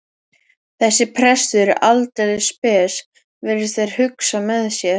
Þessi prestur er aldeilis spes, virðast þeir hugsa með sér.